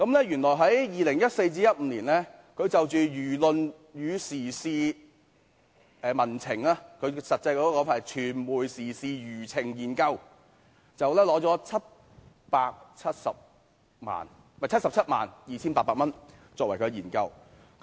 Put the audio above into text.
原來在2014年至2015年，該中心就輿論與時事民情，具體名稱是"傳媒時事輿情研究"，獲取了 772,800 元。